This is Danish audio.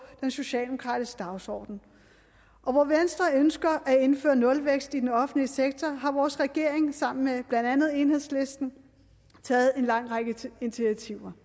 den socialdemokratiske dagsorden og hvor venstre ønsker at indføre nulvækst i den offentlige sektor har vores regering sammen med blandt andet enhedslisten taget en lang række initiativer